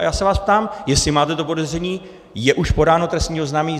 A já se vás ptám, jestli máte to podezření, je už podáno trestní oznámení?